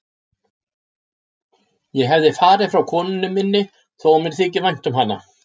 Ég hefði farið frá konunni minni þó að mér þyki vænt um hana.